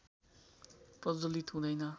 प्रज्वलित हुँदैन